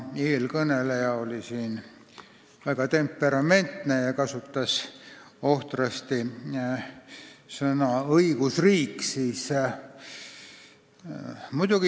Eelkõneleja oli väga temperamentne ja kasutas ohtrasti sõna "õigusriik".